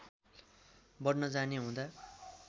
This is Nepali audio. बढ्न जाने हुँदा